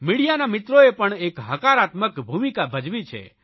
મીડિયાના મિત્રોએ પણ એક હકારાત્મક ભૂમીકા ભજવી છે